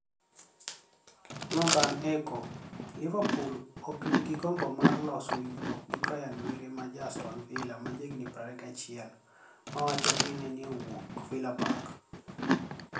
(northerni Echo)Liverpool ok niigi gombo mar loso winijruok gi Briani Were ma ja Astoni Villa ma jahiginii 21, ma wachore nii ni e owuok Villa Park.